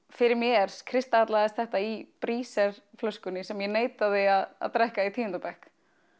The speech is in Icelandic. fyrir mér kristallaðist þetta í Breezerflöskunni sem ég neitaði að drekka í tíunda bekk